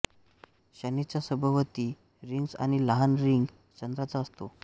शनीच्या सभोवती रिंग्ज आणि लहान रिंग चंद्राचा असतो